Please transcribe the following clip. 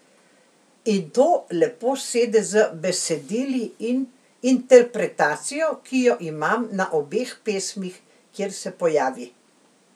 In to lepo sede z besedili in interpretacijo, ki jo imam na obeh pesmih, kjer se pojavi.